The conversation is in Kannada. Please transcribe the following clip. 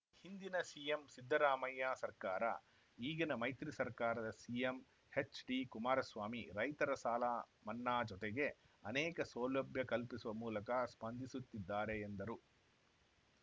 ಹಿಂದಿನ ಸಿಎಂ ಸಿದ್ದರಾಮಯ್ಯ ಸರ್ಕಾರ ಈಗಿನ ಮೈತ್ರಿ ಸರ್ಕಾರದ ಸಿಎಂ ಎಚ್‌ಡಿಕುಮಾರಸ್ವಾಮಿ ರೈತರ ಸಾಲ ಮನ್ನಾ ಜೊತೆಗೆ ಅನೇಕ ಸೌಲಭ್ಯ ಕಲ್ಪಿಸುವ ಮೂಲಕ ಸ್ಪಂದಿಸುತ್ತಿದ್ದಾರೆ ಎಂದರು